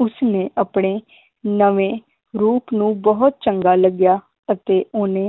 ਉਸਨੇ ਆਪਣੇ ਨਵੇਂ ਰੂਪ ਨੂੰ ਬਹੁਤ ਚੰਗਾ ਲੱਗਿਆ ਅਤੇ ਓਹਨੇ